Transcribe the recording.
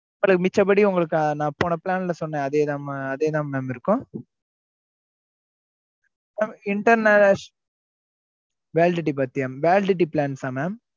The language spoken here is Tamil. அப்புறம் மிச்சபடி உங்களுக்கு நா போன plan ல சொன்ன அதே தா அதே தான் mam இருக்கும் இந்த நா validity பத்தியா validity plans ஆ mam